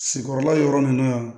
Sigikɔrɔla yɔrɔ nunnu na